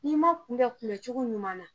N'i ma kunbɛ kunbɛn cogo ɲuman na